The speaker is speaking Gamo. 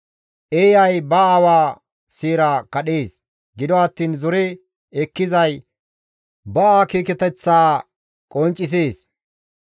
Eeyay ba aawa seera kadhees; gido attiin zore ekkizay ba akeekateththaa qonccisees.